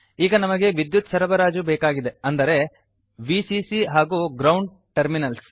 ಈಗ ನಮಗೆ ವಿದ್ಯುತ್ ಸರಬರಾಜು ಬೇಕಾಗಿದೆ ಅಂದರೆ ವಿಸಿಸಿ ಹಾಗೂ ಗ್ರೌಂಡ್ ಟರ್ಮಿನಲ್ಸ್